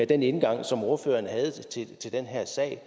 den indgang som ordføreren havde til den her sag